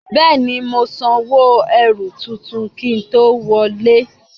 Béè ni, mo san owó erù tuntun kí n tó wọlé.